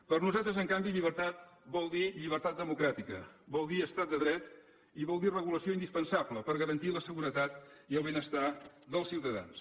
per nosaltres en canvi llibertat vol dir lli bertat democràtica vol dir estat de dret i vol dir regulació indispensable per garantir la seguretat i el benestar dels ciutadans